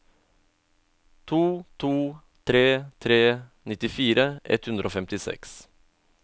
to to tre tre nittifire ett hundre og femtiseks